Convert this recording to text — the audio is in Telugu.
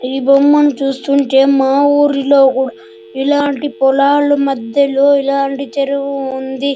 ఈ బొమ్మను చూస్తుంటే మా ఊరిలో కూడా ఇలాంటి పొలాలు మధ్యలో ఇలాంటి చెరువు ఉంది.